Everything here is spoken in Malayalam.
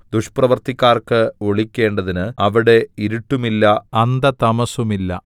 ദുഷ്പ്രവൃത്തിക്കാർക്ക് ഒളിക്കേണ്ടതിന് അവിടെ ഇരുട്ടുമില്ല അന്ധതമസ്സുമില്ല